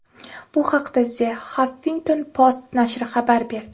Bu haqda The Huffington Post nashri xabar berdi .